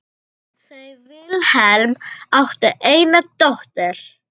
Þau Vilhelm áttu eina dóttur.